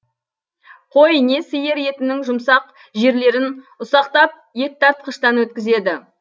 қой не сиыр етінің жұмсақ жерлерін ұсақтап еттартқыштан өткізеді